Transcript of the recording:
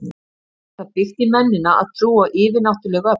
Er það innbyggt í mennina að trúa á yfirnáttúruleg öfl?